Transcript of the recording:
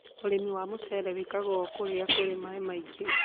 ũrĩmi wa mũcere wĩkagwo kũrĩa kũrĩ maaĩ maingĩ.